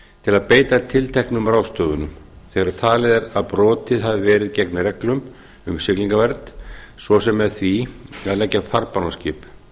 til að beita tilteknum ráðstöfunum þegar talið er að brotið hafi verið gegn reglum um siglingavernd svo sem með því að leggja farbann á skip